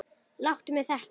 Láttu mig þekkja það!